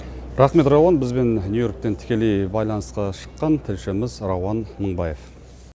рахмет рауан бізбен нью йорктен тікелей байланысқа шыққан тілшіміз рауан мыңбаев